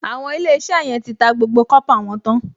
Àwọn Ilé-iṣẹ́ yẹn ti ta gbogbo kọ́pà wọn tán